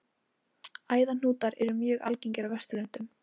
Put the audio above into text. Æðahnútar eru mjög algengir á Vesturlöndum.